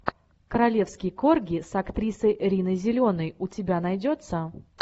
королевские корги с актрисой риной зеленой у тебя найдется